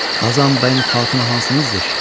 Qazan bəyin xatunu hansınızdır?